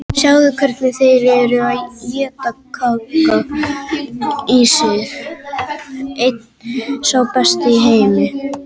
Sjáðu hvernig þeir eru að éta Kaka í sig, einn sá besti í heimi.